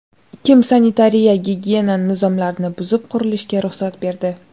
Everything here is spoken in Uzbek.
Kim sanitariya-gigiyena nizomlarini buzib, qurilishga ruxsat berdi?